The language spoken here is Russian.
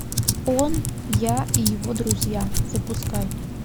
он я и его друзья запускай